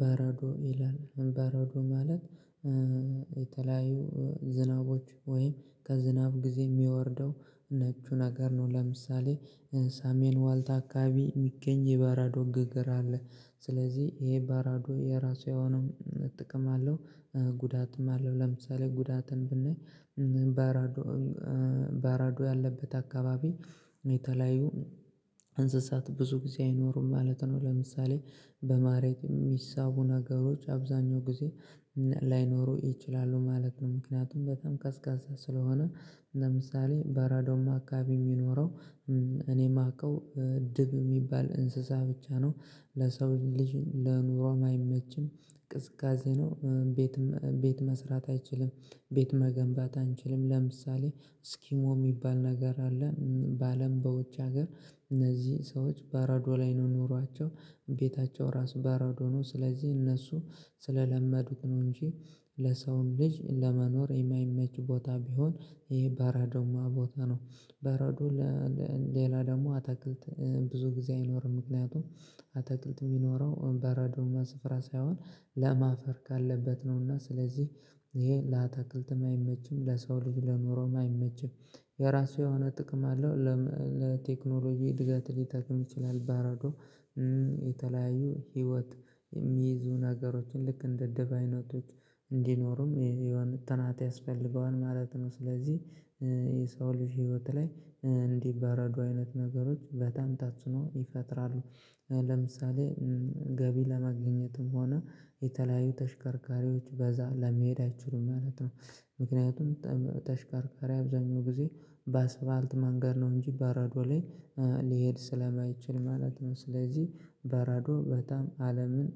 በረዶ ይላል በረዶ ማለት የተለያዩ ዝናቦች ወይም ከዝናብ ጊዜ የሚወርደው ነጩ ነገር ነው። ለምሳሌ ሳሜን ዋልታ አካባቢ የሚገኝ የበረዶ ግግር አለ። ስለዚህ ይሄ በረዶ የራሱ ያው ነው ጥቅም አለው። ጉዳትም አለው ለምሳሌ ጉዳትን ብናይ በረዶ በራዶ ያለበት አካባቢ የተለያዩ እንስሳት ብዙ ጊዜ አይኖሩም ማለት ነው። ለምሳሌ በመሬት የሚሳቡ ነገሮች አብዛኛው ጊዜ ላይኖሩ ይችላሉ ማለት ነው። ምክንያቱም በጣም ቀዝቃዛ ስለሆነ። ለምሳሌ በረዳማ አካባቢ የሚኖረው እኔ የማውቀው ድብ የሚባል እንስሳ ብቻ ነው። ለሰው ልጅ ለኑሮም አይመችም። ቅዝቃዜ ነው ቤት ቤት መስራት አይችልም። ቤት መገንባት አንችልም። ለምሳሌ ስኪሞ የሚባል ነገር አለ በአለም በውጭ ሀገር እነዚህ ሰዎች በረዶ ላይ ነው ኖሯቸው ቤታቸው ራሱ በረዶ ነው። ስለዚህ እነሱ ስለለመዱት ነው እንጂ ለሰውን ልጅ ለመኖር የማይመች ቦታ ቢሆን ይሄ በረዶማ ቦታ ነው። በረዶ ሌላ ደግሞ አትክልት ብዙ ጊዜ አይኖርም። ምክንያቱም አትክልት የሚኖረው እምባ በረዶማ ስፍራ ሳይሆን ለም አፈር ካለበት ነውና ስለዚህ ይሄ ለአትክልትም አይመችም ለሰው ልጅ ለንሮም አይመችም። የራሱ የሆነ ጥቅም አለው። ለቴክኖሎጂ እድገት ሊታቅም ይችላል በረዶ የተለያዩ ህይወት የሚይዙ ነገሮችን ልክ እንደ ድብ አይነቶች እንዲኖሩም የሆነ ጥናት ያስፈልገዋል ማለት ነው። ስለዚህ የሰው ልጅ ህይወት ላይ እንዲበረዱ አይነት ነገሮች በጣም ታጸእኖ ይፈጥራሉ። ለምሳሌ ገቢ ለማግኘትም ሆነ የተለያዩ ተሽከርካሪዎች በዛ ለመሄድ አይችሉም ማለት ነው። ምክንያቱም ተሽከርካሪ አብዛኛው ጊዜ በአስፋልት መንገድ ነው እንጂ በረዶ ላይ ሊሄድ ስለማይችል ማለት ነው። ስለዚህ በረዶ በጣም አለምን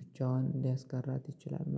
ብቻዋን ሊያስቀራት ይችላል